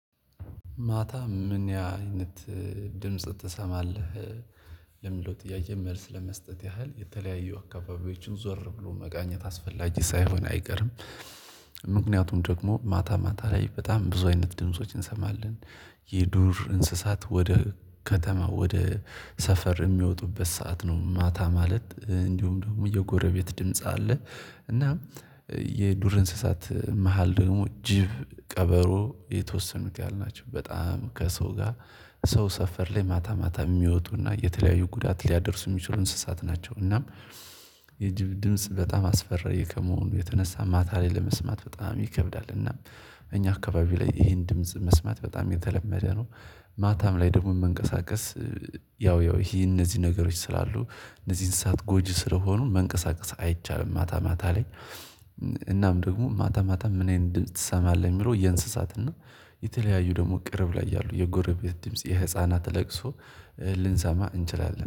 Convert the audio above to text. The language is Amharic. ማታ ምን አይነት ድምጽ ትሰማለህ ለምለው ጥያዬ መልስ ለመስጠት ያህል የተለያዩ አካባቢዎችን ዞር ብሎ መቃኘት አስፈላጊ ሳይሆን አይገርም። ምክንያቱም ደግሞ ማታ ማታ ላይ በጣም ብዙ አይነት ድምፆችን እንሰማለን። የዱር እንስሳት ወደ ከተማ ወደ ሰፈር የሚወጡበት ሰዓት ነው ማታ ማለት እንዲሁም ደግሞ የጎረቤት ድምጽ አለ። እና የዱር እንስሳት መሃል ደግሞ ጅብ ቀበሮ የተወሰኑት ያልናቸው በጣም ከሰው ጋር ሰው ሰፈር ላይ ማታ ማታ የሚወጡና የተለያዩ ጉዳት ሊያደርሱ የሚችሉ እንስሳት ናቸው። እናም የጅብ ድምጽ በጣም አስፈሪ ከመሆኑ የተነሳ ማታ ላይ ለመስማት በጣም ይከብዳል። እናም እኛ አካባቢ ላይ ይሄን ድምጽ መስማት በጣም የተለመደ ነው። ማታም ላይ ደግሞ መንቀሳቀስ ያው ያው ይሄ እነዚህ ነገሮች ስላሉ እነዚህ እንስሳት ጎጂ ስለሆኑ መንቀሳቀስ አይቻልም። ማታ ማታ ላይ እናም ደግሞ ማታ ማታ ምንአይነት ድምጽ ትሰማለህ እሚለው የእንስሳት ነው። የተለያዩ ደግሞ ቅርብ ላይ ያሉ የጎረቤት ድምጽ የህፃናት ለቅሶ ልንሰማ እንችላለን